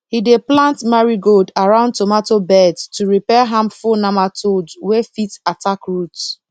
he dey plant marigold around tomato beds to repel harmful nematodes wey fit attack roots